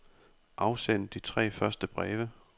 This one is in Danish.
Afsend de tre første breve.